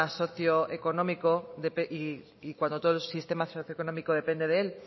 socioeconómico y cuando todo el sistema socioeconómico depende de él